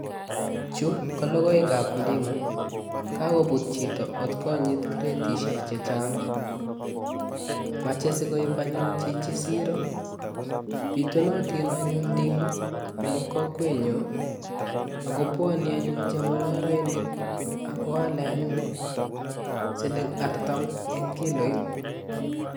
Chu ko logoekab ndimu, kakobut chito kot konyit gredishiek chechang. Mechei sikoib anyun chichi siro. Bitunatin anyun ndimu eng kokwenyon ako bwani anyun chemungareinik akoale anyun siling artam eng kiloit.